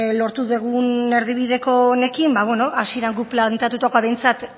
lortu dugun erdibideko honekin beno hasieran guk planteatutakoa behintzat